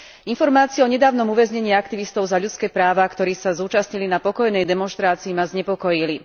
Informácie o nedávnom uväznení aktivistov za ľudské práva, ktorí sa zúčastnili na pokojnej demonštrácii, ma znepokojili.